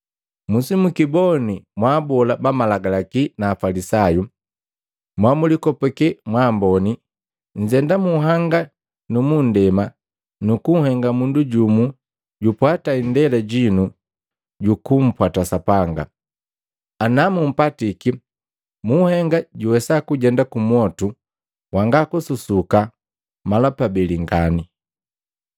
“Musimukiboni mwa abola ba Malagalaki na Afalisayu! Mo mulikopake mwa amboni! Nnzenda munhanga nu munndema kuhenga mundu jumu jupwata indela jinu jukumpwata Sapanga. Namuupatiki muhenga juwesa kujenda kumwotu wanga kususuka mala pabeli ngani.